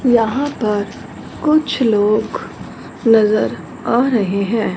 यहां पर कुछ लोग नजर आ रहे हैं।